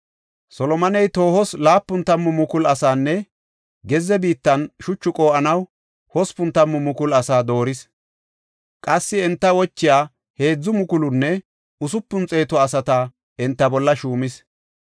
Solomoney toohos laapun tammu mukulu asaanne gezze biittan shuchu qoo7anaw hospun tammu mukulu asaa dooris. Qassi enta wochiya heedzu mukulunne usupun xeetu asata enta bolla shuumis.